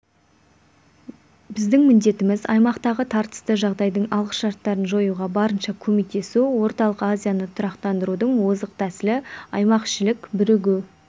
біздің міндетіміз аймақтағы тартысты жағдайдың алғышарттарын жоюға барынша көмектесу орталық азияны тұрақтандырудың озық тәсілі аймақішілік бірігу